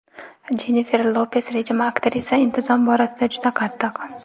Jennifer Lopes rejimi Aktrisa intizom borasida juda qattiq.